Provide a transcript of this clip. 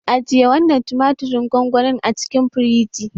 Aje wannan tumatirin gongoni a cikin firiji.